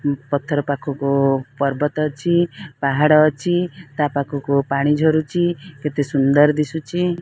ପଥର ପାଖକୁ ପର୍ବତ ଅଛି। ପାହାଡ଼ ଅଛି। ତା ପାଖକୁ ପାଣି ଝରୁଚି। କେତେ ସୁନ୍ଦର ଦିସୁଛି।